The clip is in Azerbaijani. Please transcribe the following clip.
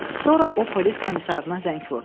Sonra o polis komissarına zəng vurdu.